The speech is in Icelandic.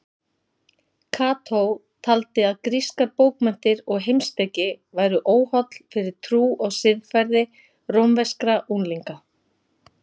Kató taldi að grískar bókmenntir og heimspeki væru óholl fyrir trú og siðferði rómverskra unglinga.